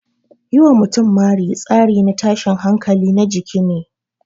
Yi wa mutum mari tsari na tashin hankali na jiki ne.